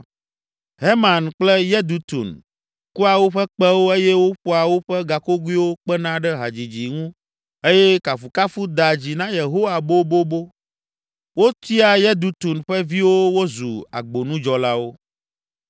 Heman kple Yedutun kua woƒe kpẽwo eye woƒoa woƒe gakogoewo kpena ɖe hadzidzi ŋu eye kafukafu dea dzi na Yehowa bobobo. Wotia Yedutun ƒe viwo wozu agbonudzɔlawo.